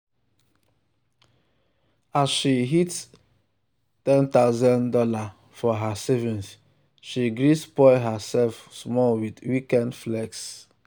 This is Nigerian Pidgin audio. as she hit one thousand dollars0 for her savings she gree spoil herself small with weekend flex.